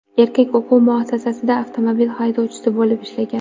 Erkak o‘quv muassasasida avtobus haydovchisi bo‘lib ishlagan.